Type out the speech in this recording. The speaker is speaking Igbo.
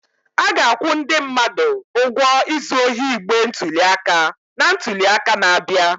A ga-akwụ ndị mmadụ ụgwọ izu ohi igbe ntuli aka na ntuli aka na-abịa.